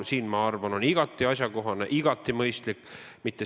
Ma arvan, et on igati mõistlik neid asju mitte ära segada.